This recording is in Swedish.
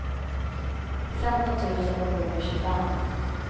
femton tusen sjuhundratjugofem